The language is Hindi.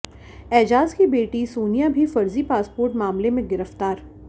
एजाज की बेटी सोनिया भी फर्जी पासपोर्ट मामले में गिरफ्तार